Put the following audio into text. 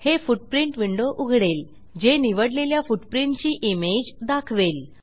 हे footprint window उघडेल जे निवडलेल्या फुटप्रिंट ची इमेज दाखवेल